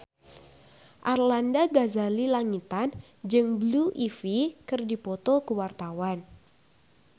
Arlanda Ghazali Langitan jeung Blue Ivy keur dipoto ku wartawan